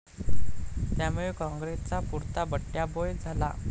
त्यामुळे कॉंग्रेसचा पुरता बट्ट्याबोळ झाला.